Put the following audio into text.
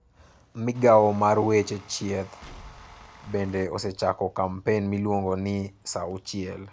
Migawo mar Weche Thieth bende osechako kampen miluongo ni 'Saa auchiel.'